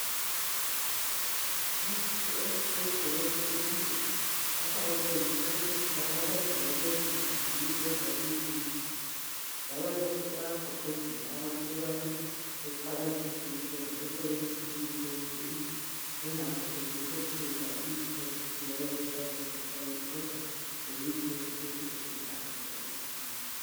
ngumuthi othize owesintu lapha kutshengiswe ukuthi utholakala ezindaweni ezinjani lendaweni ezinjani njalo lokhu kuyagqugquzela abantu ukubana baqakathekise lokusebenzisa imithi yesintu bengathembi kuphela imithi yesikhiwa eyenziwa ngeze science kodwa lemithi yesintu ilakho ukusinceda